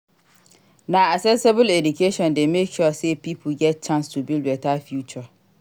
Na accessible eduation dey make sure sey pipo get chance to build beta future.